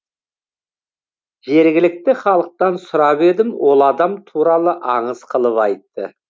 жергілікті халықтан сұрап едім ол адам туралы аңыз қылып айтты